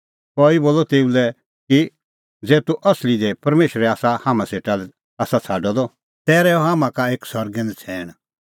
कई बोलअ तेऊ लै कि ज़ै तूह असली दी परमेशरै आसा हाम्हां सेटा लै आसा छ़ाडअ द तै रहैऊ हाम्हां का सरगै एक नछ़ैण